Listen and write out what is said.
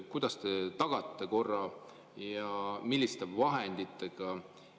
Kuidas te tagate korra, milliste vahenditega?